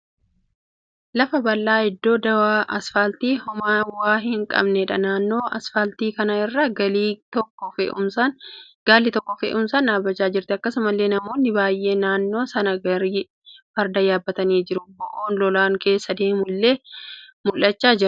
Lafa bal'eensa iddoo duwwaa asfaaltii hoomaa waa hin qabneedha. Naannoo asfaaltii kana irra gaalli tokko fe'umsaan dhaabbachaa jirti. Akkasumallee namoonni baay'een naannoo sana gaarii fardaa yaabbatanii jiru. Bo'oon lolaan keessa deemu illee mul'achaa jira.